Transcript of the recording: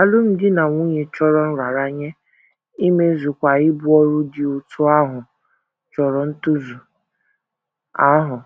Alụmdi na nwunye chọrọ nraranye, imezukwa ibu ọrụ dị otú ahụ chọrọ ntozu ahụ